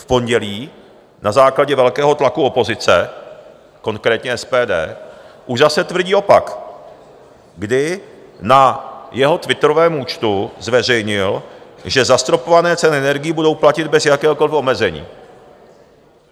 V pondělí na základě velkého tlaku opozice - konkrétně SPD - už zase tvrdí opak, kdy na svém twitterovém účtu zveřejnil, že zastropované ceny energií budou platit bez jakéhokoliv omezení.